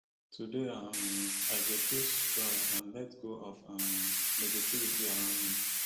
today um i go choose joy and let go of um negativity around me